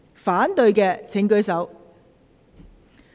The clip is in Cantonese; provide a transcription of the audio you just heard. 反對的請舉手。